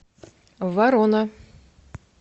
ворона